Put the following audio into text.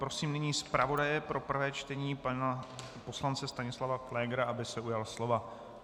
Prosím nyní zpravodaje pro prvé čtení pana poslance Stanislava Pflégra, aby se ujal slova.